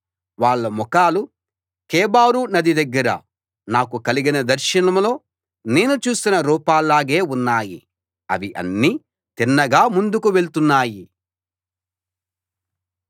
వాళ్ళ ముఖాలు కెబారు నది దగ్గర నాకు కలిగిన దర్శనంలో నేను చూసిన రూపాల్లాగే ఉన్నాయి అవి అన్నీ తిన్నగా ముందుకు వెళ్తున్నాయి